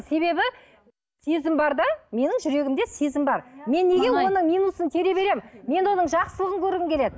себебі сезім бар да менің жүрегімде сезім бар мен неге оның минусын тере беремін мен оның жақсылығын көргім келеді